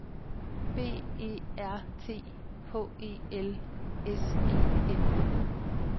B E R T H E L S E N